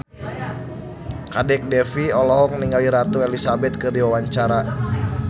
Kadek Devi olohok ningali Ratu Elizabeth keur diwawancara